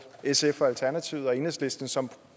sf alternativet og enhedslisten som